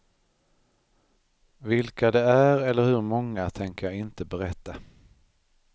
Vilka det är eller hur många tänker jag inte berätta.